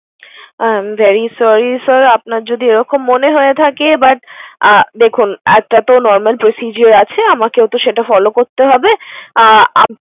I am very sorry sir আপনার যদি এরকম মনে হয়ে থাকে but আহ দেখুন একটাতো normal procedure আছে। আমাকেও তো সেটা follow করতে হবে। আহ উম